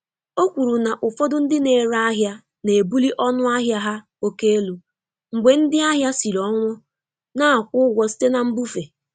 O kwuru na ụfọdụ ndị na-ere ahịa na-ebuli ọnụ ahịa há oke elu mgbe ndị ahịa siri ọnwụ na-akwụ ụgwọ site na mbufe.